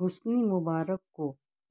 Hasani Mubarak کو